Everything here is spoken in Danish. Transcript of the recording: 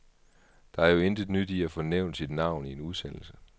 Der er jo intet nyt i at få nævnt sit navn i en udsendelse.